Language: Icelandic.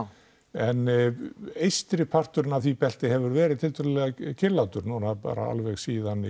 en eystri parturinn af því belti hefur verið tiltölulega kyrrlátur núna bara alveg síðan